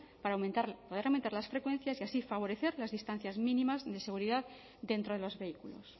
para poder aumentar las frecuencias y así favorecer las distancias mínimas de seguridad dentro de los vehículos